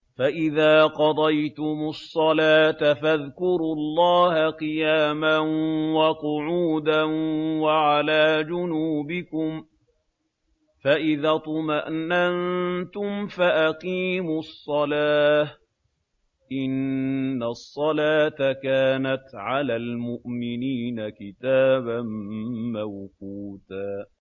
فَإِذَا قَضَيْتُمُ الصَّلَاةَ فَاذْكُرُوا اللَّهَ قِيَامًا وَقُعُودًا وَعَلَىٰ جُنُوبِكُمْ ۚ فَإِذَا اطْمَأْنَنتُمْ فَأَقِيمُوا الصَّلَاةَ ۚ إِنَّ الصَّلَاةَ كَانَتْ عَلَى الْمُؤْمِنِينَ كِتَابًا مَّوْقُوتًا